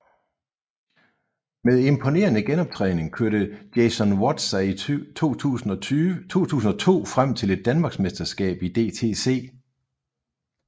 Med imponerende genoptræning kørte Jason Watt sig i 2002 frem til et Danmarksmesterskab i DTC